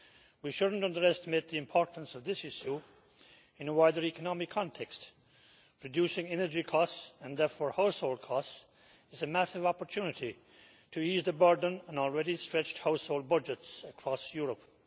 We should not underestimate the importance of this issue in a wider economic context. Reducing energy costs, and therefore household costs, is a massive opportunity to ease the burden on already stretched household budgets across Europe.